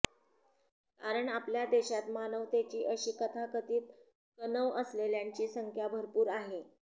कारण आपल्या देशात मानवतेची अशी तथाकथित कणव असलेल्यांची संख्या भरपूर आहे